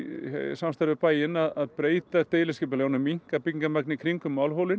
samstarfi við bæinn að breyta deiliskipulaginu og minnka byggingarmagnið í kringum